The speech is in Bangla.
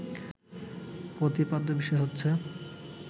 প্রতিপাদ্য বিষয় হচ্ছে